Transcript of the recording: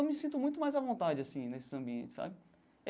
Eu me sinto muito mais à vontade assim nesses ambientes sabe.